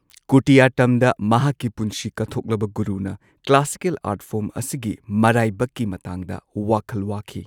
ꯀꯨꯇꯤꯌꯠꯇꯝꯗ ꯃꯍꯥꯛꯀꯤ ꯄꯨꯟꯁꯤ ꯀꯠꯊꯣꯛꯂꯕ ꯒꯨꯔꯨꯅ ꯀ꯭ꯂꯥꯁꯤꯀꯦꯜ ꯑꯥꯔ꯭ꯠ ꯐꯣꯔ꯭ꯝ ꯑꯁꯤꯒꯤ ꯃꯔꯥꯢꯕꯛꯀꯤ ꯃꯇꯥꯡꯗ ꯋꯥꯈꯜ ꯋꯥꯈꯤ꯫